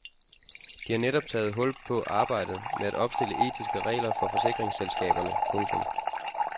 De har netop taget hul på arbejdet med at opstille etiske regler for forsikringsselskaberne. punktum